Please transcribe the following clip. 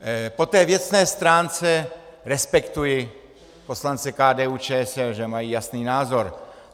Po té věcné stránce respektuji poslance KDU-ČSL, že mají jasný názor.